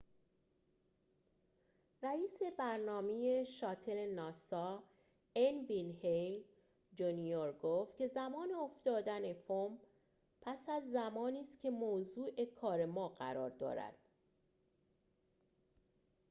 رئیس برنامه شاتل ناسا ان وین هِیل جونیور ‌گفت که زمان افتادن فوم پس از زمانی است که موضوع کار ما قرار دارد